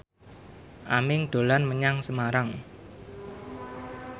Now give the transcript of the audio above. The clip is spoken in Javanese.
Aming dolan menyang Semarang